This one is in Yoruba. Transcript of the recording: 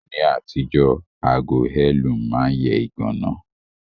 Ní àtijọ́, ago heirloom ma n yẹ ìganá